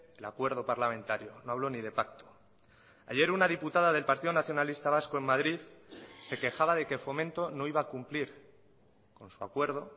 el acuerdo parlamentario no hablo ni de pacto ayer una diputada del partido nacionalista vasco en madrid se quejaba de que fomento no iba a cumplir con su acuerdo